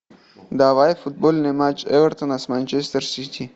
давай футбольный матч эвертона с манчестер сити